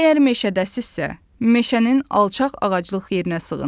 Əgər meşədəsizsə, meşənin alçaq ağaclıq yerinə sığın.